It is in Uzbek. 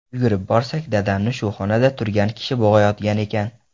Yugurib borsak, dadamni shu xonada turgan kishi bo‘g‘ayotgan ekan.